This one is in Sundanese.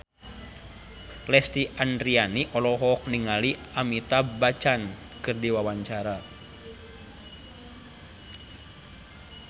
Lesti Andryani olohok ningali Amitabh Bachchan keur diwawancara